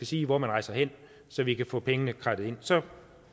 sige hvor man rejser hen så vi kan få pengene kradset ind så